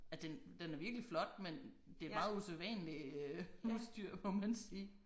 Ja den den er virkelig flot men det et meget usædvanligt øh husdyr må man sige